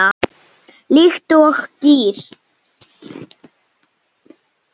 Líkt og gír